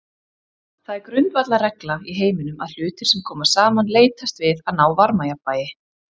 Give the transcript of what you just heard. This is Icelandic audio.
Það er grundvallarregla í heiminum að hlutir sem koma saman leitast við að ná varmajafnvægi.